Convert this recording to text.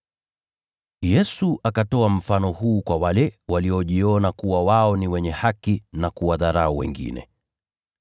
Yesu akatoa mfano huu kwa wale waliojiamini kuwa wao ni wenye haki na kuwadharau wengine: